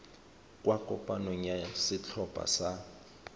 kwa kopanong ya setlhopha sa